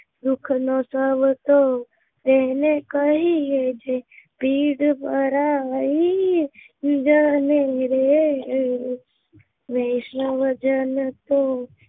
માધવ ને દીઠો છે ક્યાંય કે કઈ છે વૈષ્ણવજન તો એને કહીયે રે પીર પરાઈ જાણે રે